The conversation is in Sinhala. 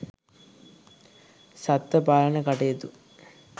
සත්ත්ව පාලන කටයුතු